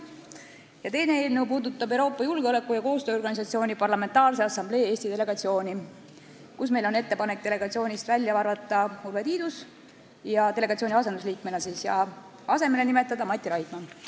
Ja teine eelnõu puudutab Euroopa Julgeoleku- ja Koostööorganisatsiooni Parlamentaarse Assamblee Eesti delegatsiooni, kust meil on ettepanek välja arvata Urve Tiidus delegatsiooni asendusliikmena ja asemele nimetada Mati Raidma.